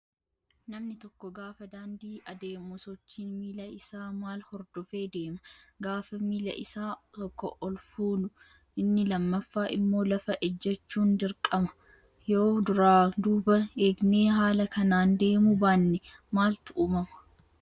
Namni tokko gaafa daandii adeemu sochiin miila isaa wal hordofee deema. Gaafa miila Isa tokko ol fuunu inni lammaffaa immoo lafa ejjachuun dirqama. Yoo duraa duuba eegnee haala kanaan deemuu baanne maaltu uumamaa?